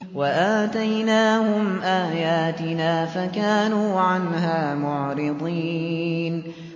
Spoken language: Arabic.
وَآتَيْنَاهُمْ آيَاتِنَا فَكَانُوا عَنْهَا مُعْرِضِينَ